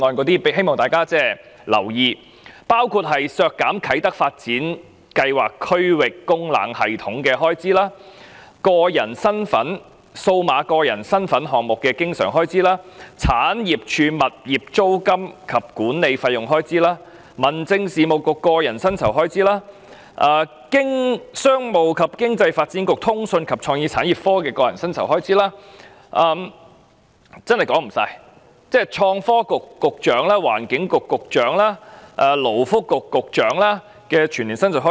當中包括削減啟德發展計劃區域供冷系統預算開支、數碼個人身份項目的經常性開支、政府產業署物業租金及管理費用的全年預算開支、民政事務局個人薪酬的全年預算開支、商務及經濟發展局的個人薪酬全年預算開支——真的說不完——創新及科技局局長、環境局局長、勞工及福利局局長的全年薪酬開支。